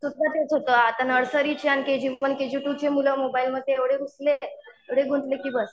सुद्धा तेच होतं आता नर्सरीचे आणि केजी वन, केजी टू ची मुलं मोबाईलमध्ये एवढे घुसलेत एवढे गुंतले की बस